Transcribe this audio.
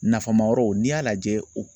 Nafama yɔrɔw n'i y'a lajɛ o